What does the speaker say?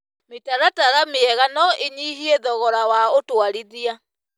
Mĩtaratara mĩega no ĩnyihie thogora wa ũtwarithia.